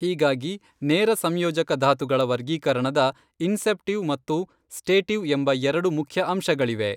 ಹೀಗಾಗಿ ನೇರ ಸಂಯೋಜಕ ಧಾತುಗಳ ವರ್ಗೀಕರಣದ ಇನ್ಸೆಪ್ಟಿವ್ ಮತ್ತು ಸ್ಟೇಟಿವ್ಎಂಬ ಎರಡು ಮುಖ್ಯ ಅಂಶಗಳಿವೆ.